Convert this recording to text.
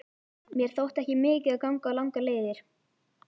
Mér þótti ekki mikið að ganga langar leiðir.